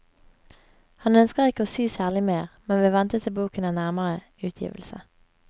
Han ønsker ikke å si særlig mer, men vil vente til boken er nærmere utgivelse.